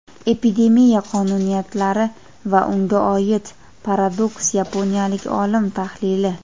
Epidemiya qonuniyatlari va unga oid paradoks - yaponiyalik olim tahlili.